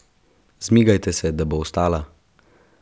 Zmigajte se, da bo ostala!